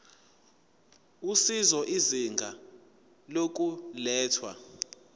usizo izinga lokulethwa